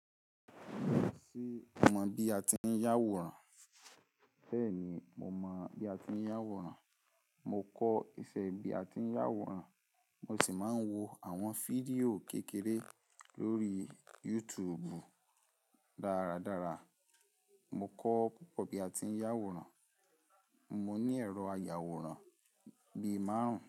Ṣé o mọ bí a ti ń yá àwòrán? Bẹ́ẹ̀ni, mo mọ bí a ti ń yá àwòrán. Mo kọ́ ìfẹ́ bí a ti ń yá àwòrán, mo sì máa ń wo àwọn fídíò kékeré lórí YouTube. Dárádára, mo kọ́ púpọ̀ bí a ti ń yá àwòrán. Mo ní ẹ̀rọ ayàwòrán bí i márùn-ún.